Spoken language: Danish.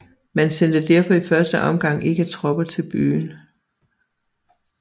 Man sendte derfor i første omgang ikke tropper til byen